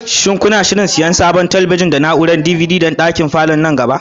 Shin kuna shirin siyan sabon talabijin da na'urar DVD don ɗakin falon nan gaba kaɗan?